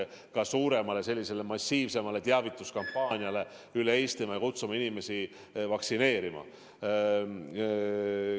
Me peaksime mõtlema suuremale, massiivsemale teavituskampaaniale üle Eestimaa ja kutsuma inimesi vaktsineerima.